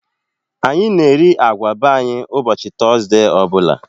Anyị na eri agwa be anyị ụbọchị Tọzdee ọbụla